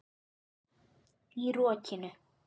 Í rokinu?